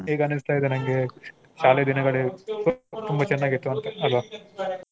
ಈಗ ಅನ್ನಿಸ್ತಾ ಇದೆ ನಂಗೆ ಶಾಲೆ ದಿನಗಳು ತುಂಬಾ ಚೆನ್ನಾಗಿತ್ತು ಅಂತ ಅಲ್ವಾ?